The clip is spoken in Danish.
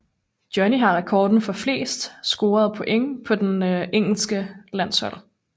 Johnny har rekorden for flest point scoret på det engelske landshold